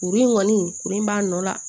Kuru in kɔni kurun b'a nɔ la